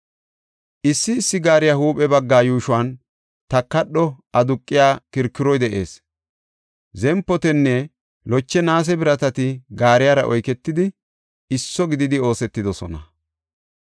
Issi issi gaariya huuphe bagga yuushuwan takadho aduqiya kirkiroy de7ees; zempotinne loche naase biratati gaariyara oyketidi, isso gididi oosetidosona.